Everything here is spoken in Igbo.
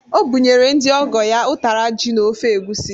O bụnyere ndị ọgọ ya ụtara ji na ofe egwusi.